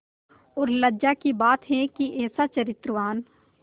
और लज्जा की बात है कि ऐसा चरित्रवान